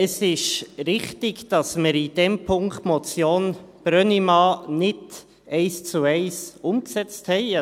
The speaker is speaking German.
Es ist richtig, dass wir in dem Punkt die Motion Brönnimann nicht eins zu eins umgesetzt haben.